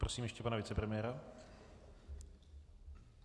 Prosím ještě pana vicepremiéra.